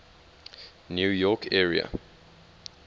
new york area